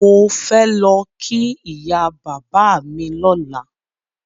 Mò fẹ́ lọ kí ìyá bàbá mi lọ́la.